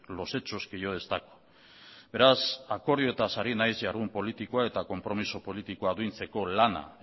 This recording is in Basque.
los hechos que yo destaco beraz akordioetaz ari naiz jardun politikoa eta konpromiso politikoa biltzeko lana